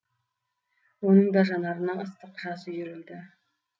оның да жанарына ыстық жас үйірілді